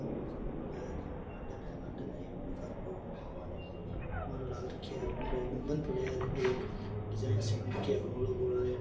Garden है garden है एक बढ़ो सार को बीमे एक पुरो बंद पड़यो है एक डिज़ाइन सी बन रखी है गोल गोल।